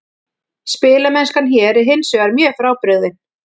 Spilamennskan hér er hinsvegar mjög frábrugðin.